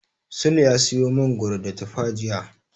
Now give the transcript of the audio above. Sule ya siyo mangoro da tufa jiya.